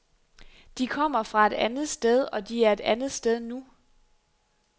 De kommer fra et andet sted, og de er et andet sted nu.